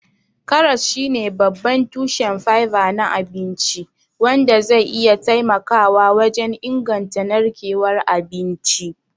Karas shine babban tushen fiber na abinci, wanda zai iya taimakawa wajen inganta narkewar abinci.